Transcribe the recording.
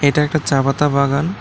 এটা একটা চা পাতা বাগান।